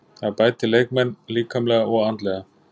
Það bætir leikmenn líkamlega og andlega.